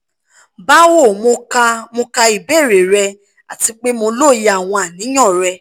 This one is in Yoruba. bawo mo ka mo ka ibeere rẹ ati pe mo loye awọn aniyan rẹ